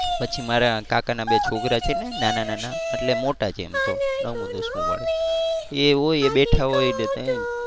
પછી મારા કાકા ના બે છોકરા છે ને નાના નાના એટલે મોટા છે એમ તો નવમું દસમું ભણે એ હોય ને એ બેઠા હોય